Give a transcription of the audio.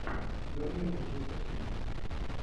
бернли манчестер сити